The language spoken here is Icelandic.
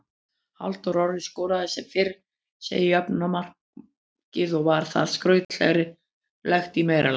Halldór Orri skoraði sem fyrr segir jöfnunarmarkið og var það skrautlegt í meira lagi.